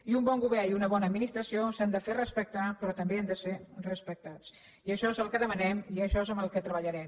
i un bon govern i una bona administració s’han de fer respectar però també han de ser respectats i això és el que dema nem i això és en el que treballarem